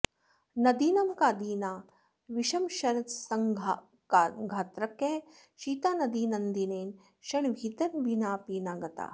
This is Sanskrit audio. नदीनं का दीना विषमशरसङ्घातकृशिता नदी नन्दीनेन क्षणविहितविनापि न गता